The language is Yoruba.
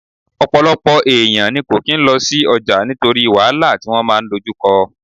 Ọ̀pọ̀lọpọ̀ èèyàn ní kò kín lọ sí ọjà nítorí wàhálà tí wọ́n máa dojú kọ